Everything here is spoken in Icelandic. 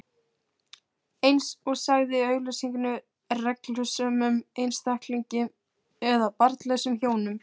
eins og sagði í auglýsingunni: reglusömum einstaklingi eða barnlausum hjónum.